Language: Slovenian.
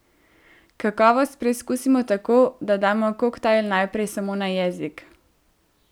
Kakovost preizkusimo tako, da damo koktajl najprej samo na jezik.